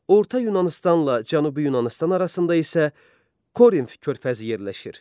Orta Yunanıstanla Cənubi Yunanıstan arasında isə Korinf körfəzi yerləşir.